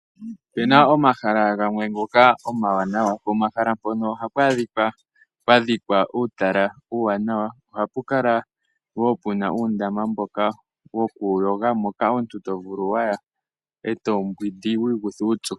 Opu na omahala gamwe ngoka omawanawa. Pomahala mpono ohapu adhika pwa dhikwa uutala uuwanawa. Ohapu kala wo pwa pu na uundama mboka wokuyoga moka omuntu to vulu okuya e to mbwindi wu ikuthe uupyu.